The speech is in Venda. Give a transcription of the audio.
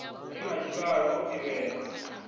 re na tshivhalo o ḓivhea